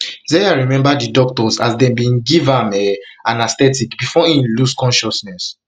zeya remember di doctors as dem bin dey um give um am anaesthetic before im lost consciousness